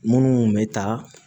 Munnu be taa